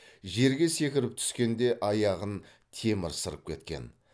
жерге секіріп түскенде аяғын темір сырып кеткен